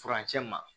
Furancɛ ma